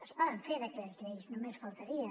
es poden fer decrets llei només faltaria